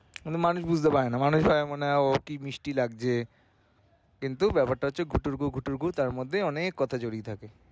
মানে মানুষ বুঝতে পারেনা মানুষ মনে হয় ও কি মিষ্টি বাজছে কিন্তু ব্যাপারটা হচ্ছে ঘুটুরগু ঘুটুরগু তার মধ্যে অনেক কথা জড়িয়ে থাকে।